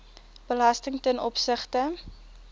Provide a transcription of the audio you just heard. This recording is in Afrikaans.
belasting ten opsigte